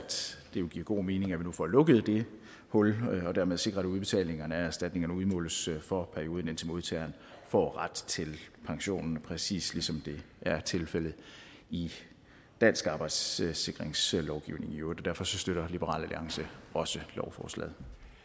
det vil give god mening at vi nu får lukket det hul og dermed sikrer at udbetalingerne af erstatningerne udmåles for perioden indtil modtageren får ret til pension præcis ligesom det er tilfældet i dansk arbejdsskadesikringslovgivning i øvrigt derfor støtter liberal alliance også lovforslaget